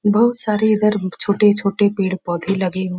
बोहोत सारे इधर छोटे-छोटे पेड़-पौधे लगे --